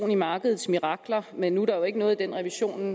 i markedets mirakler men nu er der jo ikke noget i den revision